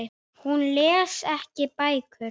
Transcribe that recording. Hún les ekki bækur.